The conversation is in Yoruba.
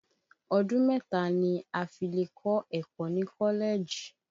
Ọdún mẹ́ta ni a fi lè kọ́ ẹ̀kọ́ ni Kọ́lẹ́jì